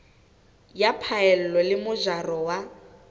ya phaello le mojaro wa